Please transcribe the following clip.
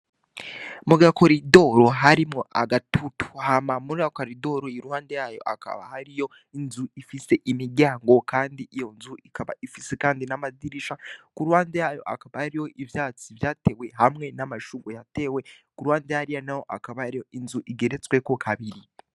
Mu gakoridoro harimwo agatutuhama mura koridoro i ruhande yayo akaba hariyo inzu ifise imiryango, kandi iyo nzu ikaba ifise, kandi n'amazirisha ku ruhande yayo akaba ari yo ivyatsi vyatewe hamwe n'amashuru yatewe ku uruhande yariya na ho akaba ariyo inzu igeretsweko kabiri.